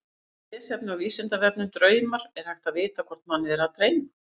Frekara lesefni á Vísindavefnum Draumar Er hægt að vita hvort mann er að dreyma?